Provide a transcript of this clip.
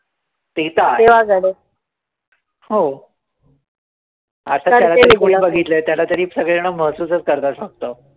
ते तर आहेच. हो. आता त्याला तरी कोणी बघितलंय, त्याला तरी सगळे जणं महसूसच करतात फक्त.